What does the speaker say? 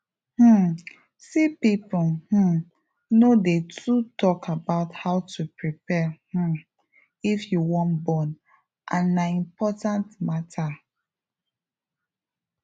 um see people um no dey too talk about how to prepare um if you wan born and na important matter